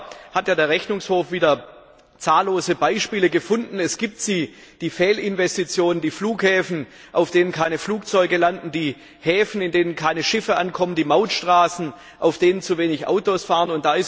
Leider hat der Rechnungshof wieder zahllose Beispiele von Fehlinvestitionen gefunden die Flughäfen, auf denen keine Flugzeuge landen, die Häfen, in denen keine Schiffe ankommen, die Mautstraßen, auf denen zu wenige Autos fahren.